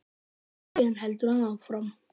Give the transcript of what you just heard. Síðan heldur hann áfram.